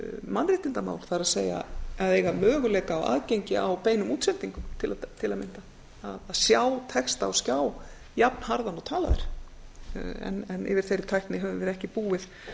mannréttindamál það er að eiga möguleika á aðgengi að beinum útsendingum til að mynda að sjá texta á skjá jafnharðan og talað er en yfir þeirri tækni höfum við ekki búið